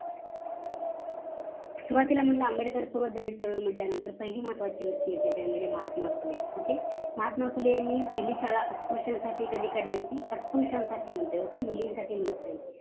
सुरवातीला म्हणले आंबेडकर म्हणल्यानंतर सर्वात महत्वाची व्यक्ती येते म्हणजे महात्मा फुले okay महात्मा फुलेंनी पहिली शाळा म्हणत्ये मुलींसाठी नाही म्हणत नाही आहे okay